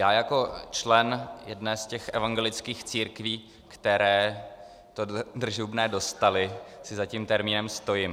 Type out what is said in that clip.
Já jako člen jedné z těch evangelických církví, které to držhubné dostaly, si za tím termínem stojím.